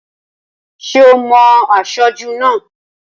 Ṣé ò mo aṣojú náà?